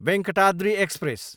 Venkatadri express